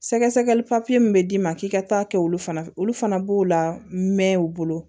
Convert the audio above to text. Sɛgɛsɛgɛli papiye min bɛ d'i ma k'i ka taa kɛ olu fana olu fana b'o la mɛn u bolo